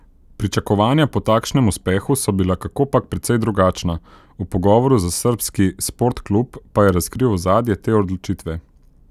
Pričakovanja po takšnem uspehu so bila kakopak precej drugačna, v pogovoru za srbski Sportklub pa je razkril ozadje te odločitve.